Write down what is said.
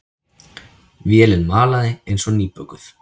Vélin malaði eins og nýbökuð.